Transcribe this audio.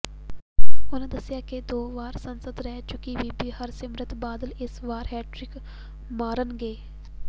ਉਹਨਾਂ ਦੱਸਿਆ ਕਿ ਦੋ ਵਾਰ ਸਾਂਸਦ ਰਹਿ ਚੁੱਕੀ ਬੀਬੀ ਹਰਸਿਮਰਤ ਬਾਦਲ ਇਸ ਵਾਰ ਹੈਟ੍ਰਿਕ ਮਾਰਨਗੇ